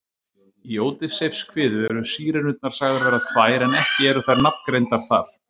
Í Ódysseifskviðu eru Sírenurnar sagðar vera tvær en ekki eru þær nafngreindar þar.